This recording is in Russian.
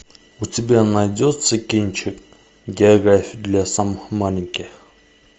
у тебя найдется кинчик география для самых маленьких